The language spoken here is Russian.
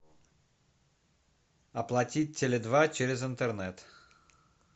оплатить теле два через интернет